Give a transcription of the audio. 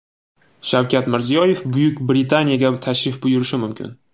Shavkat Mirziyoyev Buyuk Britaniyaga tashrif buyurishi mumkin.